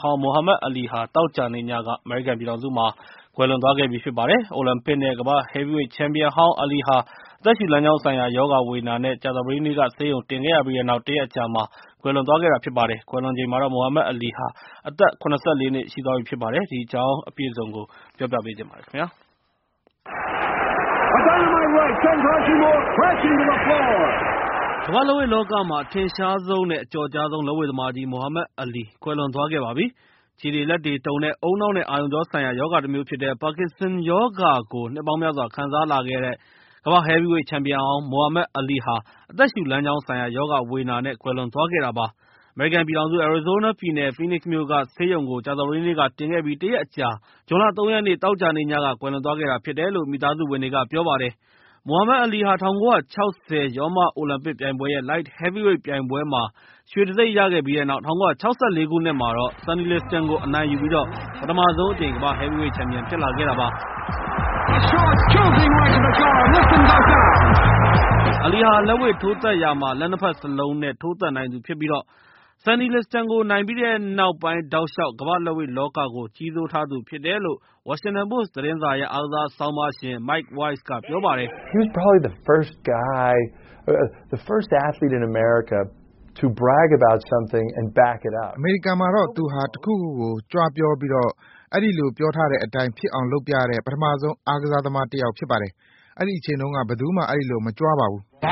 ဟောင်း မိုဟာမက်အလီဟာ သောကြာနေ့ညက အမေရိကန်ပြည်ထောင်စုမှာ ကွယ်လွန်သွားခဲ့ပါပြီ။ အိုလံပစ် နဲ့ ကမ္ဘာ့ဟဲဗီးဝိတ် ချန်ပီယံဟောင်း အလီဟာ အသက်ရှု လမ်းကြောင်း ဆိုင်ရာ ရောဂါဝေဒနာ နဲ့ ကြာသာပတေးနေ့က ဆေးရုံတင်ခဲ့ ရပြီးတဲ့နောက် တရက်အကြာမှာ ကွယ်လွန်သွားခဲ့တာဖြစ်ပါတယ်။ မိုဟာမက်အလီဟာ ကွယ်လွန်ချိန်မှာ အသက် ၇၄ နှစ်ရှိသွားပြီဖြစ်ပါတယ်။ဒီအကြောင်းအပြည့်အစုံကို ကိုရန်နိုင်က ပြောပြပေးမှာဖြစ်ပါတယ်။ ကမ္ဘာ့လက်ဝှေ့လောကမှာ အထင်ရှားဆုံး နဲ့ အကျော်ကြားဆုံး လက်ဝှေ့သမားကြီး မိုဟာမက်အလီဟာ ကွယ်လွန်သွားခဲ့ပါပြီ။ ခြေတွေလက်တွေတုန်တဲ့ ဦးနှောက်နဲ့ အာရုံကြောဆိုင်ရာ ရောဂါတမျိုးဖြစ်တဲ့ Parkinson ရောဂါကို နှစ်ပေါင်းများစွာ ခံစားလာခဲ့ရတဲ့ ကမ္ဘာ့ဟဲဗီးဝိတ်ချန်ပီယံဟောင်း မိုဟာမက်အလီဟာ အသက်ရှုလမ်းကြောင်းဆိုင်ရာရောဂါဝေဒနာ နဲ့ အမေရိကန်ပြည်ထောင်စု အယ်ရီဇိုးနားပြည်နယ် Phoenix မြို့က ဆေးရုံကို ကြာသပတေးနေ့က တင်ခဲ့ပြီး ၁ ရက်အကြာ ဇွန်လ ၃ ရက်နေ့ သောကြာနေ့ညက ကွယ်လွန်သွားခဲ့တာဖြစ်တယ်လို့ မိသားစုဝင်တွေက ပြောပါတယ်။ မိုဟာမက်အလီဟာ ၁၉၆၀ ရောမအိုလံပစ်ပြိုင်ပွဲရဲ့ Light-Heavyweight ပြိုင်ပွဲမှာ ရွှေတံဆိပ်ရခဲ့ပြီးတဲ့နောက်၊ ၁၉၆၄ ခုနှစ်မှာ Sonny Liston ကို အနိုင်ယူပြီးတော့ ပထမဆုံးအကြိမ် ကမ္ဘာ့ဟဲဗီးဝိတ်ချန်ပီယံဖြစ်လာခဲ့တာပါ။ အလီဟာ လက်ဝှေ့ ထိုးသတ်ရာမှာ လက် ၂ ဘက်စလုံး နဲ့ ထိုးသတ်နိုင်သူဖြစ်ပြီး၊ ဆန်နီလစ္စတန်ကိုနိုင်ပြီးတဲ့နောက်ပိုင်း တောက်လျှောက် ကမ္ဘာ့လက်ဝှေ့လောကကို ကြီးစိုးထားသူဖြစ်တယ်လို့ ဝါရှင်တန်ပို့စ် သတင်းစာရဲ့ အားကစားဆောင်းပါးရျင် Mike Wise က ပြောပါတယ်။ "အမေရိကန်မှာတော့ သူဟာ တခုခုကို ကြွားပြောပြီးတော့ ၊ အဲဒီလိုပြောထားတဲ့အတိုင်း ဖြစ်အောင်လုပ်ပြတဲ့ ပထမဆုံး အားကစားသမားတစ်ယောက်ဖြစ်တယ်။ အဲဒီအချိန်တုန်းက ဘယ်သူမှ အဲဒီလိုမကြွားပါဘူး။"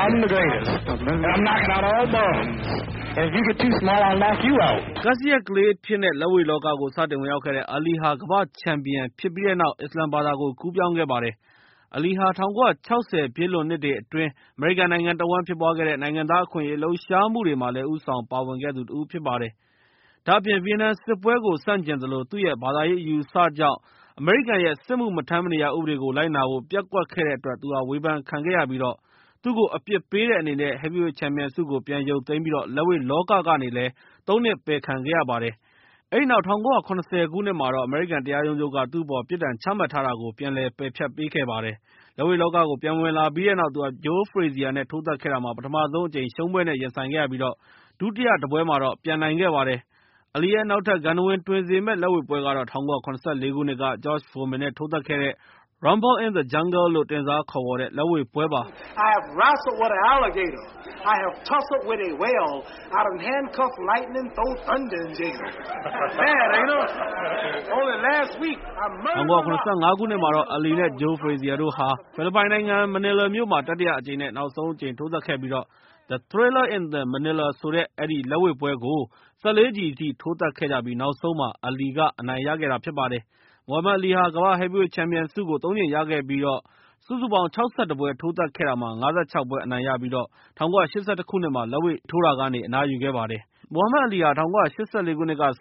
ကပ်စီးယပ်ကလေးအဖြစ်နဲ့ လက်ဝှေ့လောကကို စတင်ဝင်ရောက်ခဲ့တဲ့ အလီဟာ ကမ္ဘာ့ချန်ပီယံဖြစ်ပြီးတဲ့နောက် အစ္စလာမ်ဘာသာကို ကူးပြောင်းခဲ့ပါတယ်။ အလီဟာ ၁၉၆၀ ပြည့်လွန်နှစ်တွေအတွင်း အမေရိကန်နိုင်ငံတဝှမ်းဖြစ်ပွားခဲ့တဲ့ နိုင်ငံသား အခွင့်အရေး လှုပ်ရှားမှုတွေမှာလည်း ဦးဆောင်ပါဝင်ခဲ့သူတဦးလည်းဖြစ်ပါတယ်။ အလီဟာ ဗီယက်နမ်စစ်ပွဲကို ဆန့်ကျင်သလို၊ သူ့ရဲ့ ဘာသာရေးအယူအဆကြောင့် အမေရိကန်ရဲ့ စစ်မှုမထမ်းမနေရဥပဒေကို လိုက်နာဖို့ ပျက်ကွက်ခဲ့တဲ့အတွက် သူ့ဟာ ဝေဖန်ခံခဲ့ရသလို၊ သူ့ကို အပြစ်ပေးတဲ့အနေနဲ့ ဟဲဗီးဝိတ်ချန်ပီယံဆုကိုလည်း ပြန်ရုတ်သိမ်းပြီး လက်ဝှေ့လောကကနေလည်း ၃ နှစ်ပယ်ခံလိုက်ရပါတယ်။ အဲဒီနောက်တော့ အမေရိကန်တရာရုံးချုပ်က သူ့အပေါ်ပြစ်ဒဏ်ချမှတ်ထားတာကို ပြန်လည် ပယ်ဖျက်ပေးခဲ့ပါတယ်။ လက်ဝှေ့လောကကို ပြန်ဝင်လာပြီးတဲ့နောက် သူဟာ ဂျိုးဖရေဇီယား နဲ့ ထိုးသတ်ခဲ့တာမှာ ပထမဆုံးအကြိမ် ရှုံးပွဲနဲ့ ရင်ဆိုင်ခဲ့ရပြီး၊ ဒုတိယတပွဲမှာတော့ ပြန်နိုင်ခဲ့ပါတယ်။ အလီရဲ့ နောက်ထပ် ဂန္ထဝင်တွင်စေမယ့် လက်ဝှေ့ပွဲကတော့ ၁၉၇၄ ခုနှစ်က ဂျော့ဖိုမင် နဲ့ ထိုးသတ်ခဲ့တဲ့ Rumble In the Jungle လို့တင်စားတဲ့ လက်ဝှေ့ပွဲပါ။ ၁၉၇၅ ခုနှစ်မှာတော့ အလီ နဲ့ ဂျိုးဖရေဇီယာတို့ဟာ ဖိလစ်ပိုင်နိုင်ငံ မနီလာမြို့မှာ တတိယ နဲ့ နောက်ဆုံးအကြိမ် ထိုးသတ်ခဲ့ပြီးတော့ ၊ The Thrilla in Manila ဆိုတဲ့ အဲဒီပွဲကို ၁၄ ချီအထိ ထိုးသတ်ခဲ့ကြပြီး၊ နောက်ဆုံးမှာ အလီကို အနိုင်ရခဲ့တာဖြစ်ပါတယ်။ မိုဟာမက်အလီဟာ ကမ္ဘာ့ဟဲဗီးဝိတ်ချန်ပီယံဆုကို ၃ ကြိမ်ရခဲ့ပြီး၊ စုစုပေါင်း ၆၁ ပွဲထိုးသတ်ခဲ့တာမှာ ၅၆ ပွဲ အနိုင်ရခဲ့ပြီး၊ ၁၉၈၁ ခုနှစ်မှာ လက်ဝှေ့ထိုးတာကနေ အနားယူခဲ့ပါတယ်။ အဲဒီနောက်မှာတော့ အလီဟာ ၁၉၈၄ က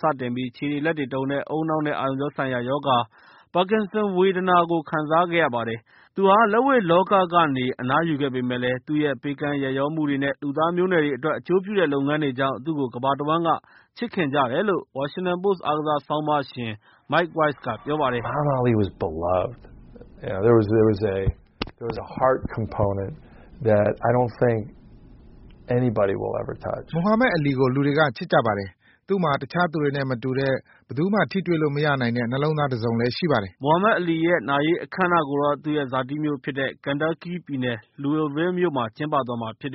စတင်ပြီး ခြေတွေ၊ လက်တွေတုန်ပြီး ဦးနှောက်နဲ့ အာရုံကြောဆိုင်ရာ ရောဂါ Parkinson ဝေဒနာကို ခံစာခဲ့ရပါတယ်။ အလီဟာ လက်ဝှေ့လောကကနေ အနားယူခဲ့ပေမယ့်လည်း၊ သူ့ရဲ့ ပေးကမ်း ရက်ရောမှုတွေ၊ လူသားမျိုးနွယ်တွေအတွက် အကျိုးပြုလုပ်ငန်းတွေ လုပ်ဆောင်တာတွေကြောင့် သူ့ကို ကမ္ဘာတဝှမ်းက ချစ်ခင်ကြတယ်လို့ ဝါရှင်တန်ပို့စ် အားကစားဆောင်းပါးရှင် Mike Wise က ပြောပါတယ်။ "မိုဟာမက်အလီကို လူတွေကချစ်ကြပါတယ်။ သူ့မှာ တခြားသူတွေနဲ့ မတူတဲ့ နှလုံးသားတစုံလည်းရှိပါတယ်။" မိုဟာမက်အလီဟာ ကွယ်လွန်ချိန်မှာ ဇနီး နဲ့ သားသမီး ၉ ယောက် ကျန်ရစ်ခဲ့ပြီး၊ သူ့ရဲ့ နာရေးအခမ်းအနားကို သူ့ရဲ့ ဇာတိမြို့ဖြစ်တဲ့ Kentucky ပြည်နယ် Louisville မြို့မှာ ကျင်းပသွားမှာဖြစ်ပ